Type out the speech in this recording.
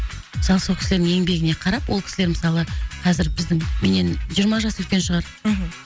мысалы сол кісілердің еңбегіне қарап ол кісілер мысалы қазір біздің менен жиырма жас үлкен шығар мхм